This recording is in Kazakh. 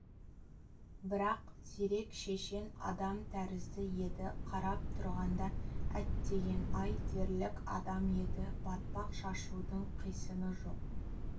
бірақ зерек шешен адам тәрізді еді қарап тұрғанда әттеген-ай дерлік адам еді батпақ шашудың қисыны жоқ